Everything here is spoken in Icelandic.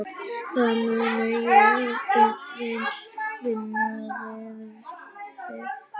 Hvað mun ég vinna við?